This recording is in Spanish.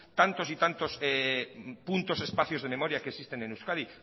tantos y tantos puntos de espacios de memoria que existen en euskadi